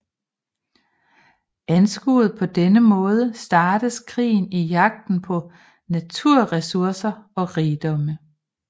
Anskuet på denne måde startes krige i jagten på naturressourcer og rigdom